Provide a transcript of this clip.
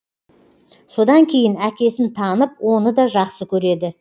содан кейін әкесін танып оны да жақсы көреді